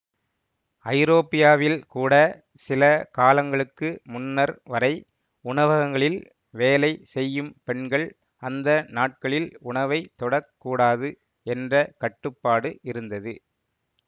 ஐரோப்பியாவில் கூட சில காலங்களுக்கு முன்னர் வரை உணவகங்களில் வேலை செய்யும் பெண்கள் அந்த நாட்களில் உணவை தொடக்கூடாது என்ற கட்டுப்பாடு இருந்தது